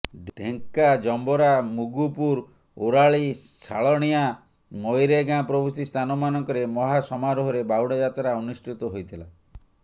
ଢ଼େଙ୍କା ଜମ୍ଭରା ମୁଗୁପୁର ଓରାଳି ଶାଳଣିଆଁ ମରୈଗାଁ ପ୍ରଭୃତି ସ୍ଥାନ ମାନଙ୍କରେ ମହା ସମାରୋହରେ ବାହୁଡାଯାତ୍ରା ଅନୁଷ୍ଠିତ ହୋଇଥିଲା